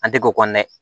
An tɛ k'o kɔnɔ dɛ